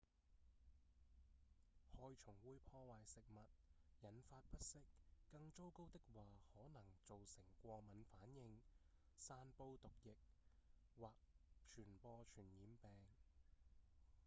害蟲會破壞食物、引發不適更糟糕的話可能造成過敏反應、散布毒液或傳播傳染病